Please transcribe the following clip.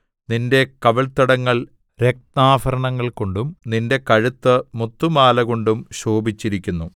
നിന്റെ കവിൾത്തടങ്ങൾ രത്നാഭരണങ്ങൾകൊണ്ടും നിന്റെ കഴുത്ത് മുത്തുമാലകൊണ്ടും ശോഭിച്ചിരിക്കുന്നു